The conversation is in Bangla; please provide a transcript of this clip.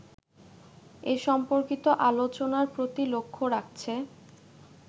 এ সম্পর্কিত আলোচনার প্রতি লক্ষ্য রাখছে